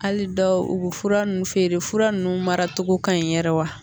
Hali dɔw u bɛ fura ninnu feere fura ninnu mara cogo ka ɲi yɛrɛ wa